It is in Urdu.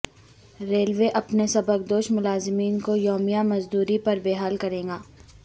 ریلوے اپنے سبکدوش ملازمین کو یومیہ مزدوری پر بحال کرے گا